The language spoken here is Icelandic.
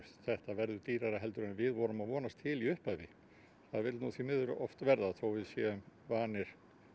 þetta verður dýrara en við vorum að vonast til í upphafi það vill því miður oft verða þótt við séum vanir